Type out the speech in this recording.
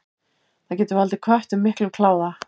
Það getur valdið köttum miklum kláða.